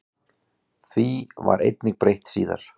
Því var einnig breytt síðar.